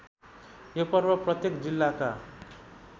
यो पर्व प्रत्येक जिल्लाका